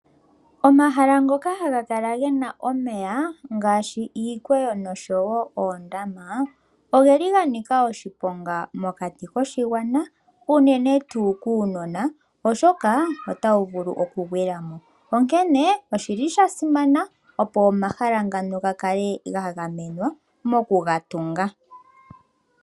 Omahala ngoka haga kala gena omeya ngaashi iikweyo noshowo oondama ogeli ganika oshiponga mokati koshi gwana uunene tuu kuunona oshoka otawu vulu oku gwilamo, onkene oshili shasimana opo omashala ngano gakale gagamenwa moku gatunga .